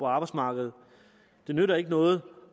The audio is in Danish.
arbejdsmarkedet det nytter ikke noget